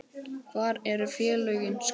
Hvar eru félögin skráð?